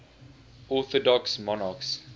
orthodox monarchs